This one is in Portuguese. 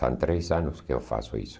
São três anos que eu faço isso.